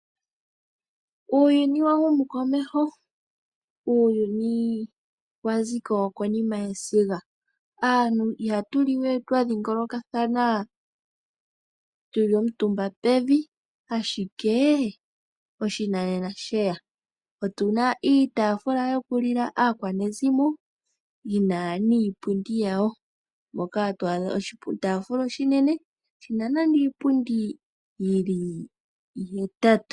Uuyuni wahumu komeho, uuyuni waziko konima yesiga. Aantu ihatu liwe twadhingolokathana tuli omutumba pevi, ashike oshinanena shega. Otuna iitaafula yokulila aakwanezimo yina niipundi yawo. Moka twaadha oshitaafula oshinene shina nande iipundi yili ihetatu.